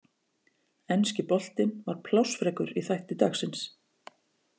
Enski boltinn var plássfrekur í þætti dagsins.